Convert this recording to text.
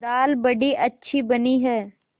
दाल बड़ी अच्छी बनी है